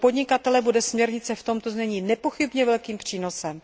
Pro podnikatele bude směrnice v tomto znění nepochybně velkým přínosem.